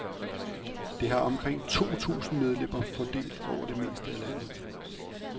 Det har omkring to tusind medlemmer fordelt over det meste af landet.